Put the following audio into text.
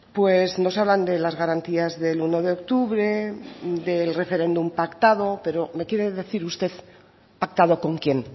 pues nos hablan de las garantías del uno de octubre del referéndum pactado pero me quiere decir usted pactado con quién